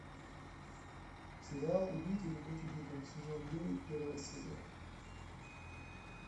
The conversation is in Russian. сериал убить или быть убитым сезон девять первая серия